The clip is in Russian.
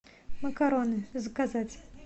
макароны заказать